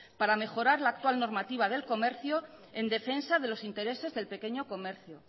para mejorar la actual normativa del comercio en defensa de los intereses del pequeño comercio